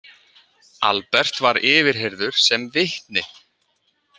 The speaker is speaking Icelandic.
Albert var yfirheyrður sem vitni.